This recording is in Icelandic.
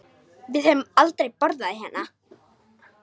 Við höfum aldrei borðað hérna.